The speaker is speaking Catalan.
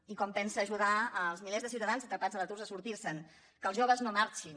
i com pensa ajudar els milers de ciutadans atrapats a l’atur a sortir se’n que els joves no marxin